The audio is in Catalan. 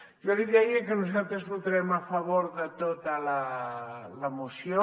jo li deia que nosaltres votarem a favor de tota la moció